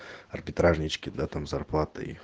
арбитражнички да там с зарплатой